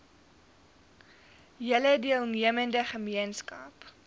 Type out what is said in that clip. hele deelnemende gemeenskap